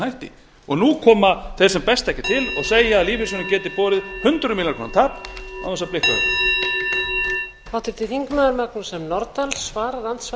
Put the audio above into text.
hætti nú koma þeir sem best þekkja til og segja að lífeyrissjóðirnir geti borið hundrað milljónir króna tap án þess að blikka augum